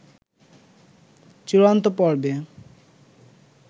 চূড়ান্ত পর্বে